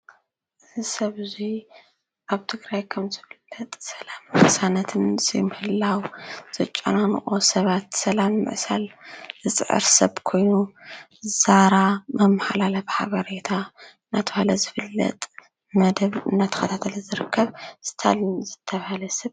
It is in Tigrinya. እዚ ሰብ እዙይኣብ ትግራይ ከምዘሎ ሰለምን ቅሳነትን ዘይምህላው ዘጨናንቆ ሰባት ሰላም ምዕሳል ዝፅዕር ሰብ ኮይኑ ዛራ መመሓላለፊ ሓበሬታ መደብ እናተብሃል ዝፍለጥ እንዳተከታተለ ዝርከብ ዝፈለጥ ስታሊን ዝተባሃለ ሰብ